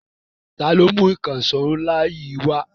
Ta ló mú ìkànṣọ́ ńlá yìí wá?